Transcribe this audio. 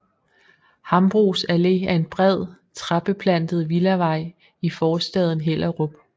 Hambros Allé er en bred træbeplantet villavej i forstaden Hellerup